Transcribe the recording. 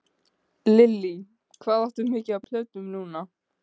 Lillý: Hvað áttu mikið af plötum núna?